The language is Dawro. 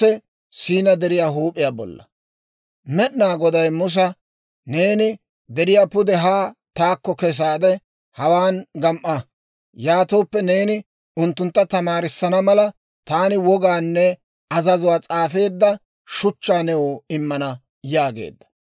Med'inaa Goday Musa, «Neeni deriyaa pude haa taakko kesaade, hawaan gam"a; yaatooppe neeni unttuntta tamaarissana mala, taani wogaanne azazuwaa s'aafeedda shuchchaa new immana» yaageedda.